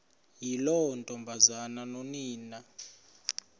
yiloo ntombazana nonina